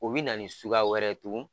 O bi na ni suguya wɛrɛ tugun